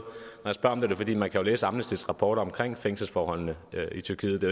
jeg spørger om det er det fordi man kan læse amnestys rapport omkring fængselsforholdene i tyrkiet det